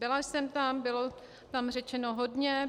Byla jsem tam, bylo tam řečeno hodně.